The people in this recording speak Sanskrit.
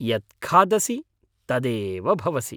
यत् खादसि तदेव भवसि।